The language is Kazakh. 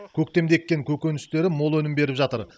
көктемде еккен көкөністері мол өнім беріп жатыр